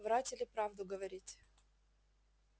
врать или правду говорить